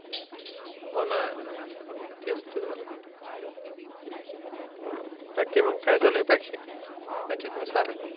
होना तेच तर झाल बाकी मग काय चालू आहे? मजेत न सार.